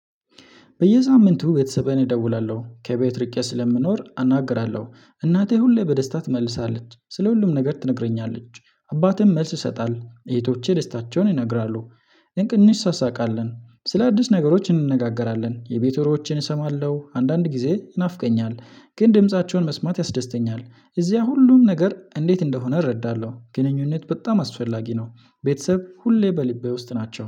በየሳምንቱ ቤተሰቤን እደውላለሁ። ከቤት ርቄ ስለምኖር አናግራለሁ። እናቴ ሁሌ በደስታ ትመልሳለች። ስለ ሁሉም ነገር ትነግረኛለች። አባቴም መልስ ይሰጣል። እህቶቼ ደስታቸውን ይነግራሉ። እንቅ እንሳሳቃለን። ስለ አዲስ ነገሮች እንነጋገራለን። የቤት ወሬዎችን እሰማለሁ። አንዳንድ ጊዜ ይናፍቀኛል። ግን ድምፃቸውን መስማት ያስደስተኛል። እዚያ ሁሉም ነገር እንዴት እንደሆነ እረዳለሁ። ግንኙነት በጣም አስፈላጊ ነው። ቤተሰብ ሁሌ በልቤ ውስጥ ናቸው።